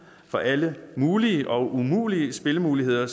for alle mulige og umulige spillemuligheder